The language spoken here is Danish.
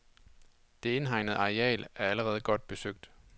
Det indhegnede areal er allerede godt besøgt.